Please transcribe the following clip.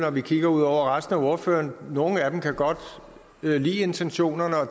når vi kigger ud over resten af ordførerne nogle af dem kan godt lide intentionerne og